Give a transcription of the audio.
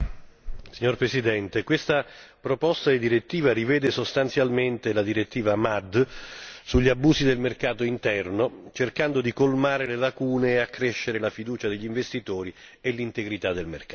Signor Presidente, questa proposta di direttiva rivede sostanzialmente la direttiva MAD sugli abusi del mercato interno, cercando di colmare le lacune e accrescere la fiducia degli investitori e l'integrità del mercato.